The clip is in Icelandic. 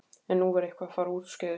En nú var eitthvað að fara úrskeiðis.